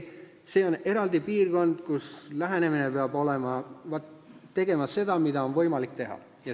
See on eraldi piirkond, kus peab tegema seda, mida on võimalik teha.